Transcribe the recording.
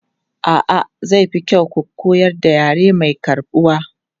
A'a, zai fi kyau ku koyar da yare mai karɓuwa.